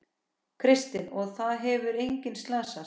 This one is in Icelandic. Kristinn: Og það hefur enginn slasast?